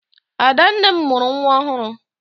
Adanne m mụrụ nwa ọhụrụ.